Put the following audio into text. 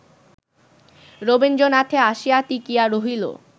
রবীন্দ্রনাথে আসিয়া টিকিয়া রহিল